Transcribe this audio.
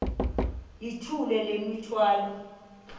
yithula le mithwalo